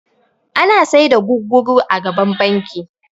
Ana sai da guguru a gaban bankin